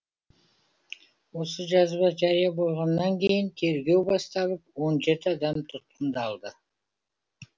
осы жазба жария болғаннан кейін тергеу басталып он жеті адам тұтқындалды